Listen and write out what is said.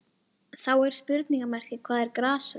Það er svoleiðis stækjan út úr honum!